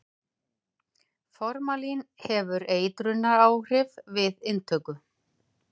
formalín hefur eitrunaráhrif við inntöku